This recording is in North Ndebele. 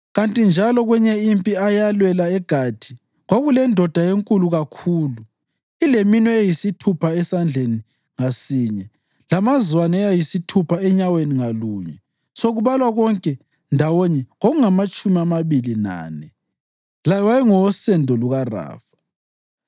Kanti njalo kwenye impi eyalwelwa eGathi, kwakulendoda enkulu kakhulu ileminwe eyisithupha esandleni ngasinye lamazwane ayisithupha enyaweni ngalunye, sekubalwa konke ndawonye kungamatshumi amabili lane. Laye wayengowosendo lukaRafa.